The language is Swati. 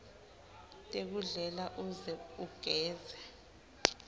tekudlela uze ugeze